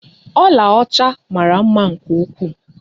Ọla ọcha mara mma nke ukwuu.